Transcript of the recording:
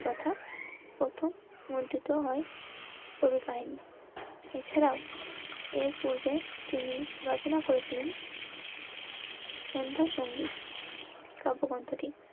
তথা প্রথম হয় কাহিনী এছাড়াও এর পূর্বে তিনি রচনা করেছিলেন সন্ধ্যার সংগীত তা অপগ্রন্থটি.